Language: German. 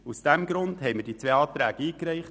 Deshalb haben wir diese zwei Anträge eingereicht.